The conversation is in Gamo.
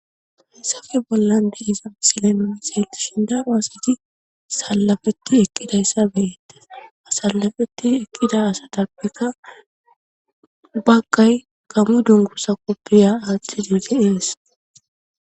Hessafe bollan de isan silenooni seeltishin daro asiti sallafetti eqqidayssa beeette asallafeti ekqida asa dabbikka bagqay kamu dungusa koppiya aaththi duge ees.